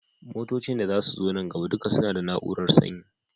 Motocin da zasu zo nan gaba duka suna da na urar sanyi